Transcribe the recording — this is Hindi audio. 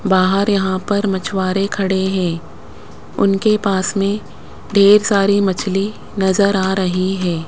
बाहर यहां पर मछुआरे खड़े हैं उनके पास में ढेर सारी मछली नजर आ रही है।